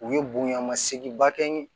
U ye bonyamasegin bakɛ n ye